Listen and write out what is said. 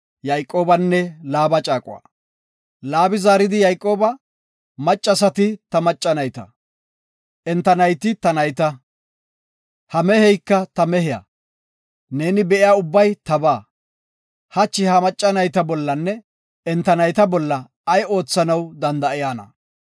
Laabi zaaridi Yayqooba, “Maccasati ta macca nayta, enta nayti ta nayta, ha meheyka ta mehiya, neeni be7iya ubbay taba. Hachi ha macca nayta bollanne enta nayta bolla ay oothanaw danda7ayna?